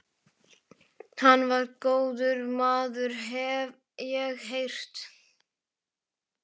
Hann var góður maður, hef ég heyrt